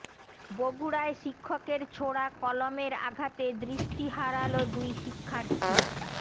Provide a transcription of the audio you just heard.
বগুড়ায় শিক্ষকের ছোড়া কলমের আঘাতে দৃষ্টি হারাল দুই শিক্ষার্থী